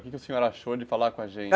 O que que o senhor achou de falar com a gente?